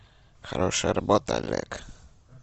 хорошая работа олег